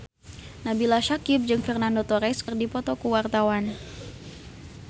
Nabila Syakieb jeung Fernando Torres keur dipoto ku wartawan